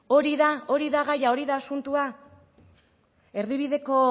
hori da hori da gaia hori da asuntoa erdibideko